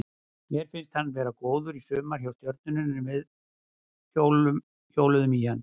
Mér fannst hann vera góður í sumar hjá Stjörnunni og við hjóluðum í hann.